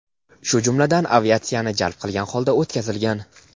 shu jumladan aviatsiyani jalb qilgan holda o‘tkazilgan.